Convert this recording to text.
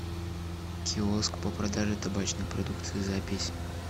киоск по продаже табачной продукции запись